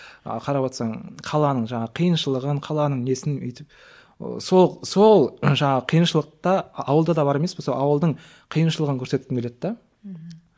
ы қарап отырсаң қаланың жаңағы қиыншылығын қаланың несін өйтіп ы сол сол жаңағы қиыншылық та ауылда да бар емес пе сол ауылдың қиыншылығын көрсеткім келеді де мхм